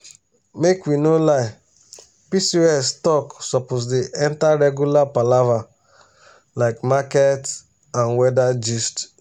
make we no lie pcos talk suppose dey enter regular palava like market and weather gist.